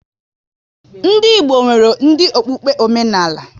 Ndị Igbo nwere dị okpukpe omenala